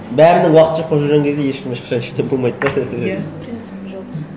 бәрінің уақыты жоқ болып жүрген кезде ешкім ешқашан болмайды да иә принцип жоқ